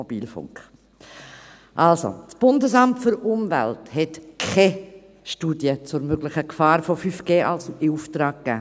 Also: Das BAFU hat keine Studie zur möglichen Gefahr von 5G in Auftrag gegeben.